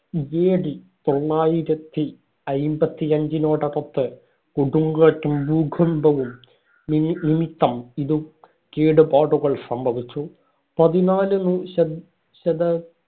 AD തൊള്ളായിരത്തി അയ്മ്പത്തി അഞ്ചിനോടടുത്ത് കൊടുങ്കാറ്റും ഭൂകമ്പവും നിമി~ നിമിത്തം ഇതു കേടുപാടുകൾ സംഭവിച്ചു. പതിനാലാം ശത~